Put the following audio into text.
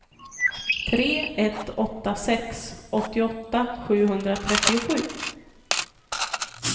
tre ett åtta sex åttioåtta sjuhundratrettiosju